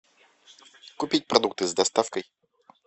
купить продукты с доставкой